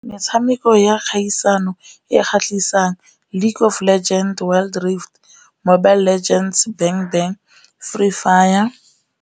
Metshameko ya kgaisano e kgatlhisang League of Legends, Wild Rift, Mobile Legends, Free fire.